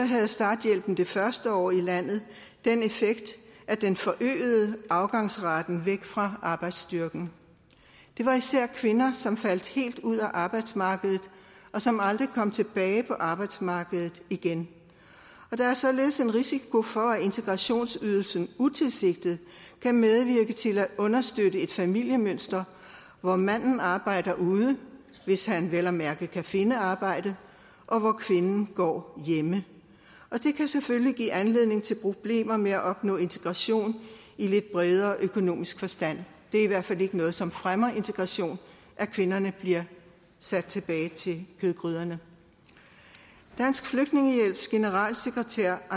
havde starthjælpen det første år i landet den effekt at den forøgede afgangsraten væk fra arbejdsstyrken det var især kvinder som faldt helt ud af arbejdsmarkedet og som aldrig kom tilbage på arbejdsmarkedet igen der er således en risiko for at integrationsydelsen utilsigtet kan medvirke til at understøtte et familiemønster hvor manden arbejder ude hvis han vel at mærke kan finde arbejde og hvor kvinden går hjemme det kan selvfølgelig give anledning til problemer med at opnå integration i lidt bredere økonomisk forstand det er i hvert fald ikke noget som fremmer integration at kvinderne bliver sendt tilbage til kødgryderne dansk flygtningehjælps generalsekretær